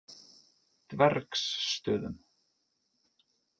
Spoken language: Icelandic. Dvergsstöðum